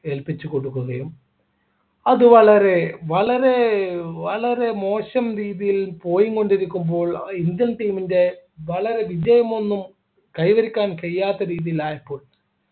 ഏൽപ്പിച്ചു കൊടുക്കുകയും അത് വളരെ വളരെ വളരെ മോശം രീതിയിൽ പോയിക്കൊണ്ടിരിക്കുമ്പോൾ indian team ൻ്റെ വളരെ വിജയം ഒന്നും കൈവരിക്കാൻ കഴിയാത്ത രീതിയിലായി